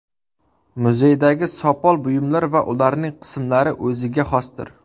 Muzeydagi sopol buyumlar va ularning qismlari o‘ziga xosdir.